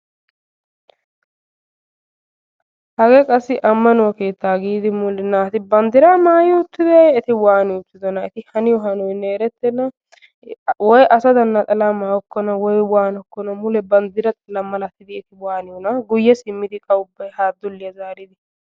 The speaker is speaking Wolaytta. hagee qassi ammaauwaa keettaa giidi mule naati bandiiraa maayi uuttideyee eeti waani uttidonaa eti haniyoo hanoyinne eretenna. woy asadan naxalaa mayokonna woy wanokonna mule bandira xallaa malatidi eeti waaniyoonaa? guyye simmidi qa ubbay haa dulliyaa zaaridi.